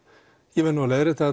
ég verð nú að leiðrétta